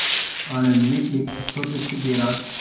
आणंद में एक छोटे से गैराज